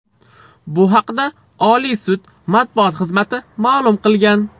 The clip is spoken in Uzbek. Bu haqda Oliy sud matbuot xizmati ma’lum qilgan .